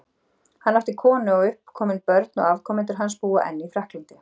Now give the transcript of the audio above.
Hann átti konu og uppkomin börn, og afkomendur hans búa enn í Frakklandi.